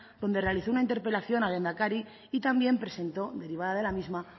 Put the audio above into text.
donde realizó una interpelación al lehendakari y también presentó derivada de la misma